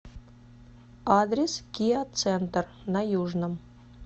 адрес киа центр на южном